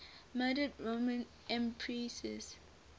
murdered roman empresses